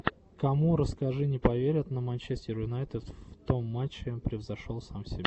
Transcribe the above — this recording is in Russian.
кому расскажи не поверят на манчестер юнайтед в том матчи превзошел сам себя